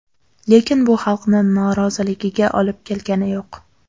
Lekin bu xalqni noroziligiga olib kelgani yo‘q.